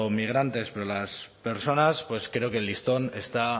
migrantes para las personas pues creo que el listón está